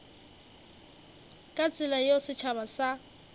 ka tsela yeo setšhaba sa